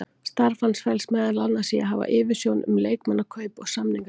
Starf hans felst meðal annars í að hafa yfirsjón um leikmannakaup og samningagerð.